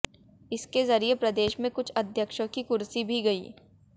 इसके जरिए प्रदेश में कुछ अध्यक्षों की कुर्सी भी गई